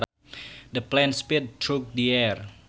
The plane sped through the air